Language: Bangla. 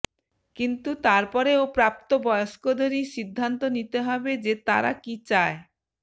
কিন্তু তারপরেও প্রাপ্তবয়স্কদেরই সিদ্ধান্ত নিতে হবে যে তারা কি চায়